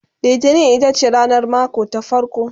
littani itace ranar mako ta farko